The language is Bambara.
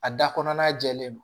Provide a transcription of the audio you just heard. A da kɔnɔ n'a jɛlen don